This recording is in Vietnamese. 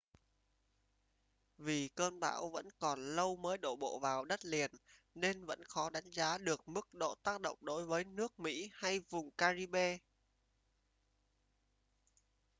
vì cơn bão vẫn còn lâu mới đổ bộ vào đất liền nên vẫn khó đánh giá được mức độ tác động đối với nước mỹ hay vùng caribbean